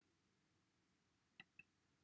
cafodd ymchwiliad ei sefydlu i ymchwilio